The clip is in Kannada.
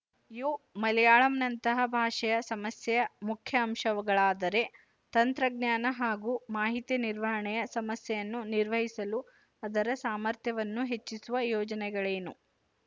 ಇವು ಮಲಯಾಳಂನಂತಹ ಭಾಷೆಯ ಸಮಸ್ಯೆಯ ಮುಖ್ಯ ಅಂಶಗಳಾದರೆ ತಂತ್ರಜ್ಞಾನ ಹಾಗೂ ಮಾಹಿತಿ ನಿರ್ವಹಣೆಯ ಸಮಸ್ಯೆಯನ್ನು ನಿರ್ವಹಿಸಲು ಅದರ ಸಾಮರ್ಥ್ಯವನ್ನು ಹೆಚ್ಚಿಸುವ ಯೋಜನೆಗಳೇನು